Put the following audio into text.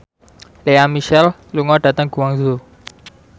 Lea Michele lunga dhateng Guangzhou